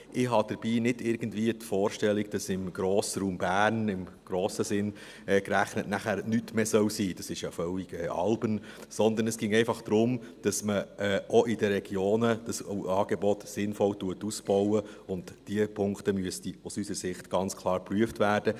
Ich habe dabei nicht irgendwie die Vorstellung, dass im Grossraum Bern, im grossen Sinn gerechnet, dann nichts mehr sein soll – das ist ja völlig albern –, sondern es ginge einfach darum, dass man auch in den Regionen das Angebot sinnvoll ausbaut, und diese Punkte müssten aus unserer Sicht ganz klar geprüft werden.